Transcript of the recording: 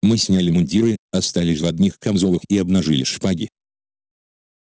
мы сняли мундиры остались в одних камзолах и обнажили шпаги